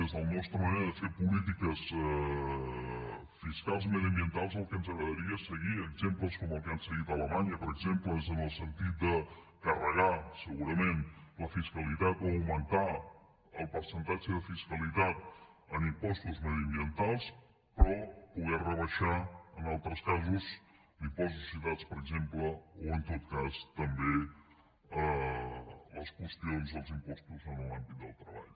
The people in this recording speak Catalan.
des de la nostra manera de fer polítiques fiscals i mediambientals el que ens agradaria és seguir exemples com el que han seguit a alemanya per exemple en el sentit de carregar segurament la fiscalitat o augmentar el percentatge de fiscalitat en impostos mediambientals però poder rebaixar en altres casos l’impost de societats per exemple o en tot cas també les qüestions els impostos en l’àmbit del treball